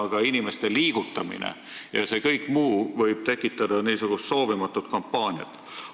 Aga inimeste liigutamine ja kõik see muu võib tekitada soovimatut kampaaniat.